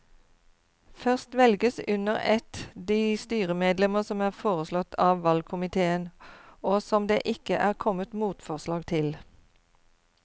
Først velges under ett de styremedlemmer som er foreslått av valgkomiteen og som det ikke er kommet motforslag til.